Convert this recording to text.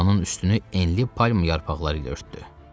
Komanın üstünü enli palma yarpaqları ilə örtdü.